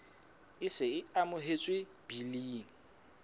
e se e amohetswe biling